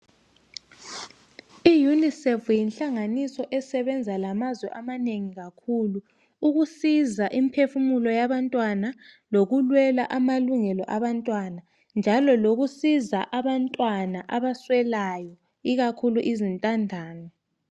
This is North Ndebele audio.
Iunicef yinhlanganiso esebenza lamazwe amanengi kakhulu ,ukusiza imphefumulo yabantwana lokulwela amalungelo abantwana njalo lokusiza abantwana abaswelayo ikakhulu izintandane.